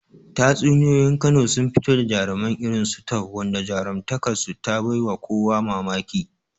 Tatsuniyar Kano sun fito da jarumai irin su Tope, wanda jarumtakar su ta bai wa kowa mamaki.